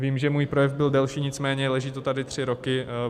Vím, že můj projev byl delší, nicméně leží to tady tři roky.